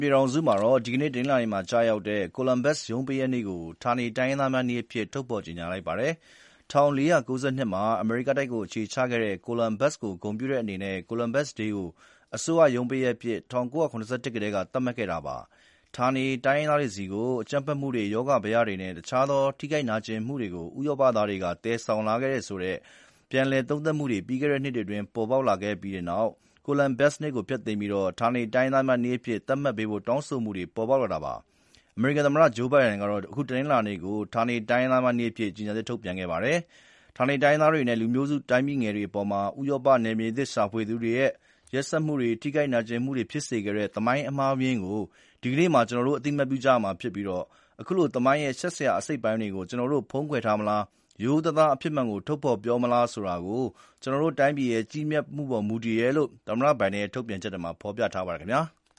ပြည်ထောင်စုမှာ ဒီနေ့ကျရောက်တဲ့ Columbus ရုံးပိတ်ရက်နေ့ကို ဌာနေတိုင်းရင်းသားများနေ့အဖြစ် ထုတ်ဖော်ကြေညာလိုက်ပါပြီ။ ၁၄၉၂ မှာ အမေရိကတိုက်မှာအခြေချခဲ့တဲ့ ကိုလန်ဘတ်စ်ကို ဂုဏ်ပြုတဲ့အနေနဲ့ Columbus Day ကို အစိုးရရုံးပိတ်ရက်အဖြစ် ၁၉၇၁ ခုနှစ်ကတည်းက သတ်မှတ်ခဲ့တာပါ။ ဌာနေတိုင်းရင်းသားတွေဆီကို အကြမ်းဖက်မှုတွေ၊ ရောဂါဘယတွေနဲ့တခြားသော ထိခိုက်နာကျင်မှုတွေကို ဥရောပ သားတွေက သယ်ဆောင်လာခဲ့တယ်ဆိုပြီး ပြန်လည်သုံးသပ်မှုတွေ ပြီးခဲ့နှစ်တွေအတွင်းပေါ်ပေါက်လာခဲ့ပြီးနောက် Columbus နေ့ကို ဖျက်သိမ်းပြီး ဌာနေတိုင်းရင်းသားများနေ့အဖြစ် သတ်မှတ်ပေးဖို့တောင်းဆိုမှုတွေ ဖြစ်ပေါ်လာတာပါ။ အမေရိကန်သမ္မတ ဂျိူးဘိုင်ဒန်က အခု တနင်္လာနေ့ကို ဌာနေတိုင်းရင်းသားများနေ့အဖြစ် ကြေညာချက်ထုတ်ပြန်ခဲ့ပါတယ်။ ဌာနေတိုင်းရင်းသားတွေနဲ့လူမျိုးစုတိုင်းပြည်ငယ်တွေအပေါ် ဥရောပနယ်မြေသစ်ရှာသူတွေရဲ့ ရက်စက်မှုတွေနဲ့ ထိခိုက် နာကျင်မှုတွေဖြစ်စေခဲ့တဲ့ သမိုင်းအမှားအယွင်းကို ဒီနေ့မှာ ကျနော်တို့အသိအမှတ်ပြုကြရမှာဖြစ်ပြီး အခုလို သမိုင်းရဲ့ ရှက်စရာအစိတ်အပိုင်းတွေကိုကျနော်တို့ဖုံးကွယ်ထားမလား၊ ရိုးရိုးသားသား အဖြစ်မှန်ကိုထုတ်ဖော်ပြောမလားဆိုတာ ကျနော်တို့တိုင်းပြည်ရဲ့ ကြီးမြတ်မှုပေါ်မူတယ်တယ်လို့ သမ္မတဘိုင်ဒန်ရဲ့ ထုတ်ပြန်ချက်မှာ ဖော်ပြထားပါတယ်ခင်ဗျာ။